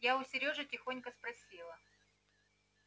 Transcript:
я у серёжи тихонько спросила